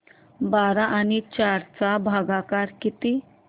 बारा आणि चार चा भागाकर किती